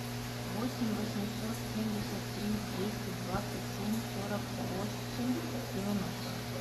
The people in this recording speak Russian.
восемь восемьсот семьдесят три двести двадцать семь сорок восемь девяносто